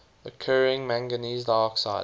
occurring manganese dioxide